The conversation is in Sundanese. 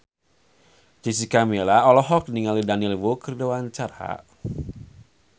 Jessica Milla olohok ningali Daniel Wu keur diwawancara